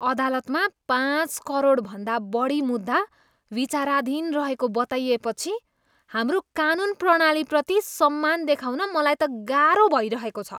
अदालतमा पाँच करोडभन्दा बढी मुद्दा विचाराधीन रहेको बताइएपछि हाम्रो कानुन प्रणालीप्रति सम्मान देखाउन मलाई त गाह्रो भइरहेको छ।